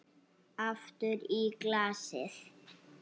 Aftur í glasið.